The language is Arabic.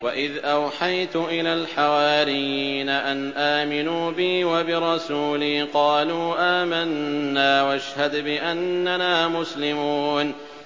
وَإِذْ أَوْحَيْتُ إِلَى الْحَوَارِيِّينَ أَنْ آمِنُوا بِي وَبِرَسُولِي قَالُوا آمَنَّا وَاشْهَدْ بِأَنَّنَا مُسْلِمُونَ